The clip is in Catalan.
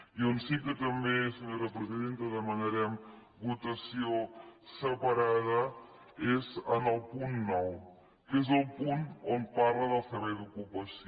i on sí que també senyora presidenta demanarem votació separada és en el punt nou que és el punt on parla del servei d’ocupació